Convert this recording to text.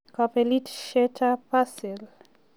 kabelisietab Brazil.